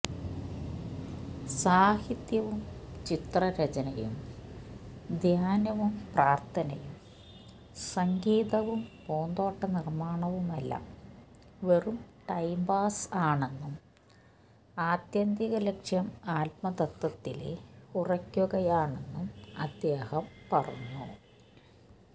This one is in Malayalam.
സാഹിത്യവും ചിത്രരചനയും ധ്യാനവും പ്രാര്ഥനയും സംഗീതവും പൂന്തോട്ടനിര്മാണവുമെല്ലാം വെറും ടൈംപാസ് ആണെന്നും ആത്യന്തിക ലക്ഷ്യം ആത്മതത്ത്വത്തില് ഉറയ്ക്കുകയാണെന്നും അദ്ദേഹം പറഞ്ഞു